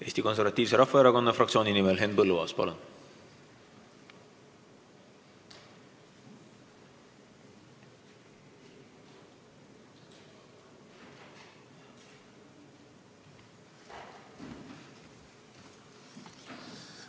Eesti Konservatiivse Rahvaerakonna fraktsiooni nimel Henn Põlluaas, palun!